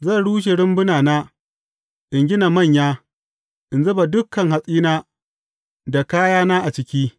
Zan rushe rumbunana, in gina manya, in zuba dukan hatsina da kayana a ciki.